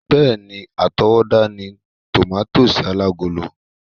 Bẹ́ẹ̀ni, átowódá ni tòmátósì alágolo